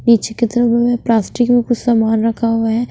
नीचे की तरफ मैं प्लास्टिक में कुछ सामान रखा हुआ है।